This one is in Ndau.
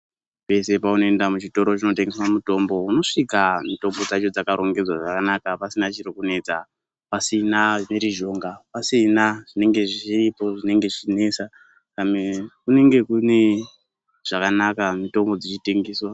Pese peunoenda muchitoro chinotengesa mutombo unosvika mutombo dzacho dzakarongedzwa zvakanaka pasina chiri kunetsa, pasina mhirizhonga, pasina zvinenge zviripo zvinenge zvichinesa. Pamwe kunenge kune zvakanaka mutombo dzichitengeswa.